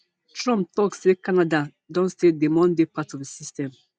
trump tok say canada don say dem wan dey part of di system